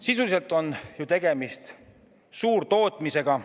Sisuliselt on ju tegemist suurtootmisega.